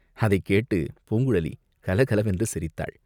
அதைக் கேட்டுப் பூங்குழலி கலகலவென்று சிரித்தாள்.